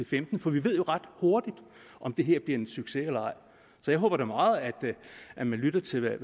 femten for vi ved jo ret hurtigt om det her bliver en succes eller ej jeg håber da meget at man lytter til hvad